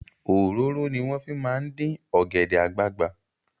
Òróró ni wọ́n fi máa ń dín ọ̀gẹ̀dẹ̀ àgbagbà.